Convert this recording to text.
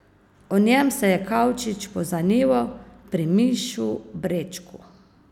O njem se je Kavčič pozanimal pri Mišu Brečku.